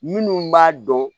Minnu b'a dɔn